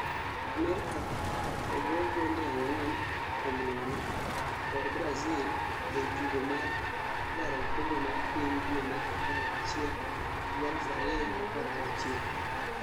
Amerika ogo 4-0 kod Brazil ei tugo mar laro okombe mar piny due mar apar ga chiel 2016